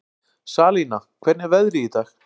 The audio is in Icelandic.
Salína, hvernig er veðrið í dag?